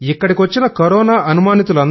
ఇక్కడికి వచ్చిన కొరోనా అనుమానితు